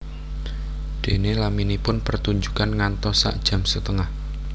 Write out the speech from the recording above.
Déné laminipun pertunjukan ngantos sak jam setengah